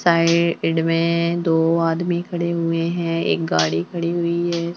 साए इड में दो आदमी खड़े हुए हैं एक गाड़ी खड़ी हुई है।